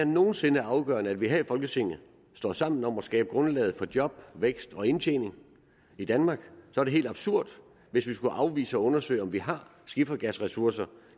nogen sinde er afgørende at vi her i folketinget står sammen om at skabe grundlaget for job vækst og indtjening i danmark er det helt absurd hvis vi skulle afvise at undersøge om vi har skifergasressourcer